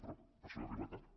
però per això ja arriba tard